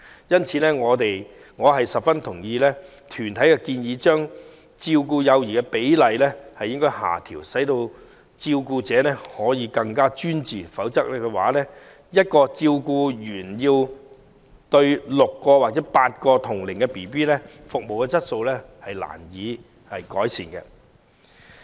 因此，我十分贊同團體的建議，將照顧幼兒的比例下調，使照顧者可更專注，否則要1名照顧員照顧6至8名同齡幼兒，服務質素將難以改善。